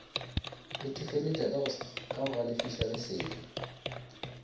itefeletša ka go galefiša lesedi